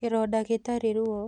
Kĩronda gĩtarĩ ruo